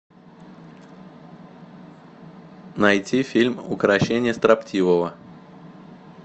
найти фильм укрощение строптивого